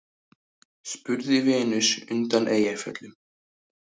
spurði Venus undan Eyjafjöllum.